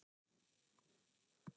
Síðan byrjaði